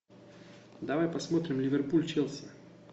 давай посмотрим ливерпуль челси